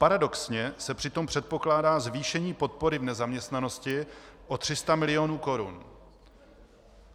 Paradoxně se přitom předpokládá zvýšení podpory v nezaměstnanosti o 300 mil. korun.